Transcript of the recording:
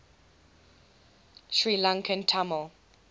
sri lankan tamil